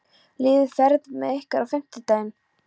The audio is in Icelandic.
Lýður, ferð þú með okkur á fimmtudaginn?